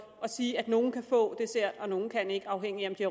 og sige at nogle kan få dessert og nogle kan ikke afhængigt af om de